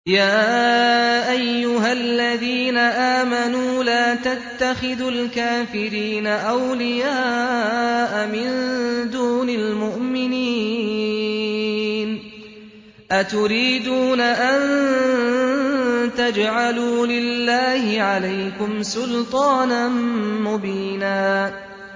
يَا أَيُّهَا الَّذِينَ آمَنُوا لَا تَتَّخِذُوا الْكَافِرِينَ أَوْلِيَاءَ مِن دُونِ الْمُؤْمِنِينَ ۚ أَتُرِيدُونَ أَن تَجْعَلُوا لِلَّهِ عَلَيْكُمْ سُلْطَانًا مُّبِينًا